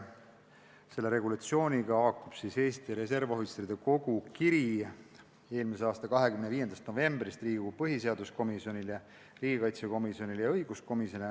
Selle regulatsiooniga haakub Eesti Reservohvitseride Kogu kiri, mille nad saatsid eelmise aasta 25. novembril Riigikogu põhiseaduskomisjonile, riigikaitsekomisjonile ja õiguskomisjonile.